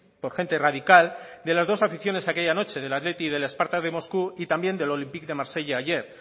por gente radical de las dos aficiones de aquella noche del athletic y del spartak de moscú y también del olympique de marsella ayer